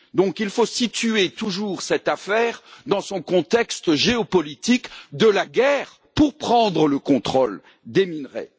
Donc il faut situer toujours cette affaire dans son contexte géopolitique de la guerre pour prendre le contrôle des minerais.